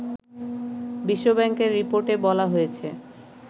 বিশ্বব্যাংকের রিপোর্টে বলা হয়েছে